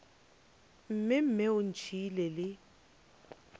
mme mme o ntšhiile le